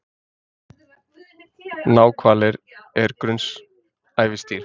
Náhvalir er grunnsævisdýr.